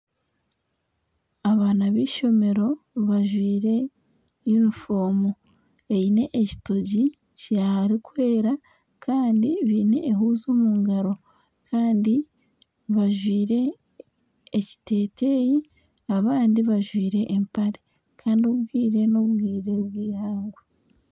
Abaana b'ishomero bajwaire uniform eine ekitogi kirikwera Kandi baine ehuuzi omungaro Kandi bajwaire ekiteteyi abandi bajwaire empare Kandi obwire nobwire bwihangwe